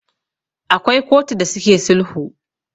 akwai kotu da suke sulhu